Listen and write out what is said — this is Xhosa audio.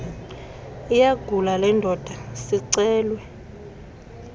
iyagula lendoda sicelwe